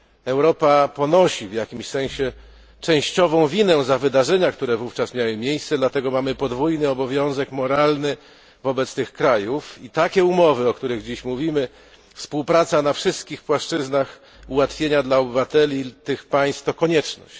Europa ponosi w jakimś sensie częściową winę za wydarzenia, które wówczas miały miejsce, dlatego mamy podwójny obowiązek moralny wobec tych krajów i takie umowy, o których dziś mówimy współpraca na wszystkich płaszczyznach, ułatwienia dla obywateli tych państw to konieczność.